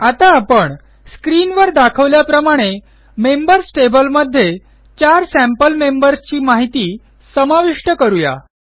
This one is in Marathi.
आता आपण स्क्रीनवर दाखवल्याप्रमाणे मेंबर्स टेबलमध्ये चार सॅम्पल मेंबर्स ची माहिती समाविष्ट करू या